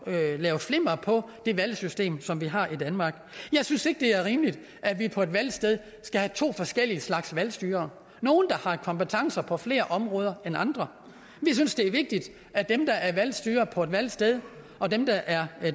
at lave flimmer på det valgsystem som vi har i danmark jeg synes ikke det er rimeligt at vi på et valgsted skal have to forskellige slags valgstyrere nogle der har kompetencer på flere områder end andre vi synes det er vigtigt at dem der er valgstyrere på et valgsted og dem der er